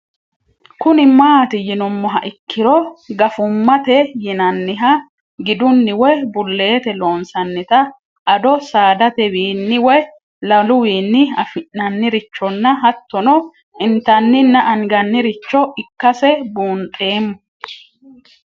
Kuni mati yinumoha ikiro gafumate yinaniha giduni woyi bulete loonsanitanna addo saadatewini woyi laluwinni afinnanirichona hatono intanina anganiricho ikase bunxemo?